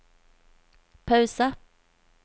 pause